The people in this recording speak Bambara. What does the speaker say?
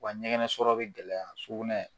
Wa ɲɛgɛnɛ sɔrɔ bɛ gɛlɛya sugunɛ.